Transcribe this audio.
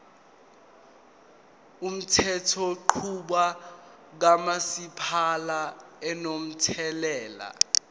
umthethonqubo kamasipala unomthelela